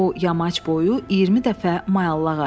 O, yamac boyu 20 dəfə mayallaq aşdı.